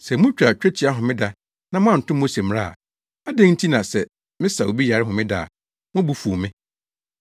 Sɛ mutwa twetia homeda na moanto Mose mmara a, adɛn nti na sɛ mesa obi yare homeda a, mo bo fuw me?